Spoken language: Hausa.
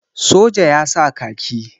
soja ya sa kaki